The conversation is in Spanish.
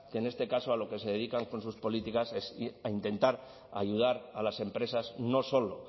que en este caso a lo que se dedican con sus políticas es intentar ayudar a las empresas no solo